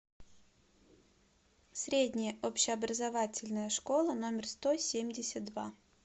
средняя общеобразовательная школа номер сто семьдесят два